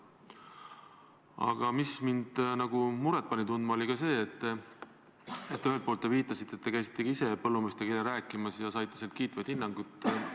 Aga mind pani muret tundma ka see, et te viitasite, et käisite ka ise põllumeestega eile rääkimas ja saite sealt kiitvaid hinnanguid.